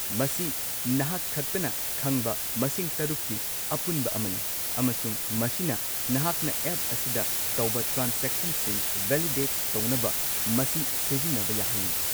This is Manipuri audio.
ꯃꯁꯤ ꯅꯍꯥꯛ ꯈꯛꯇꯅ ꯈꯪꯕ ꯃꯁꯤꯡ ꯶ꯀꯤ ꯑꯄꯨꯟꯕ ꯑꯃꯅꯤ, ꯑꯃꯁꯨꯡ ꯃꯁꯤꯅ ꯅꯍꯥꯛꯅ ꯑꯦꯞ ꯑꯁꯤꯗ ꯇꯧꯕ ꯇ꯭ꯔꯥꯟꯁꯦꯛꯁꯟꯁꯤꯡ ꯚꯦꯂꯤꯗꯦꯠ ꯇꯧꯅꯕ ꯃꯁꯤ ꯁꯤꯖꯤꯟꯅꯕ ꯌꯥꯍꯜꯂꯤ꯫